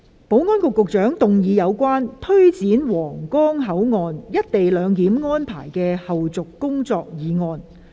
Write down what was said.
保安局局長動議有關推展皇崗口岸「一地兩檢」安排的後續工作的議案。